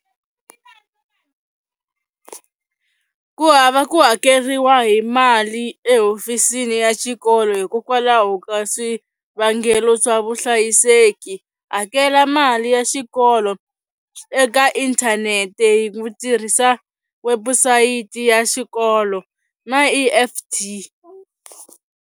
Ku hava ku hakeriwa hi mali ehofisini ya xikolo hikokwalaho ka swivangelo swa vuhlayiseki, hakela mali ya xikolo eka inthanete hi ku tirhisa wabusayiti ya xikolo na E_F_T.